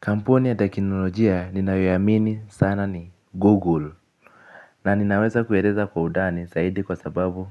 Kampuni ya teknolojia ninayoiamini sana ni Google. Na ninaweza kueleza kwa undani zaidi kwa sababu